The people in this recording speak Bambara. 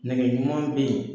Nɛgɛ ɲuman be ye